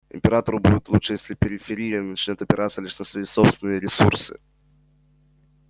императору будет лучше если периферия начнёт опираться лишь на свои собственные ресурсы